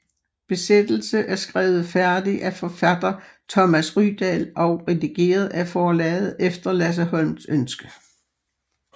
Besættelse er skrevet færdig af forfatter Thomas Rydahl og redigeret af forlaget efter Lasse Holms ønske